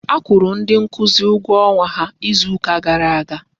A kwụrụ ndị nkuzi ụgwọ ọnwa ha izu ka gara aga.